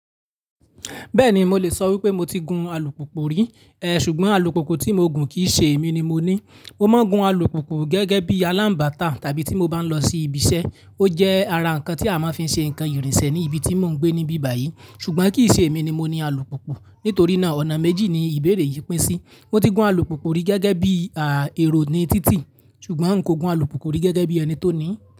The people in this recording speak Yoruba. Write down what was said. Bẹ́ẹ̀ni mo lè sọ wípé mo ti gun alùpùpù rí, eh ṣùgbọ́n alùpùpù tí mo gun kìí ṣe èmi ni mo ní. Mo máa ń gun alùpùpù gẹ́gẹ́ bí alánbàtà tàbí tí mo bá ń lọ sí ibi iṣẹ́. Ó jẹ́ ara ǹkan tí a máa ń fi ṣe ǹkan ìrìnsẹ̀ ní ibi tí mò ń gbé níbí báyìí ṣùgbọ́n kìí ṣe èmi ni mo ní alùpùpù. Nítorí náà ọ̀nà méjì ni ìbéèrè yìí pín sí. Mo ti gun alùpùpù rí gẹ́gẹ́ bí, àá, èrò ni títì ṣùgbọ́n un kò gun alùpùpù rí gẹ́gẹ́ bí ẹni tó ní.